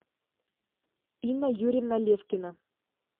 инна юрьевна левкина